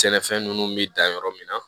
Sɛnɛfɛn ninnu bɛ dan yɔrɔ min na